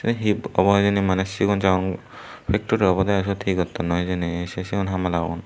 hip obo hijeni maneh sigon sagon factory obodey i siyot he gottonnoi hijeni se se hamlagun.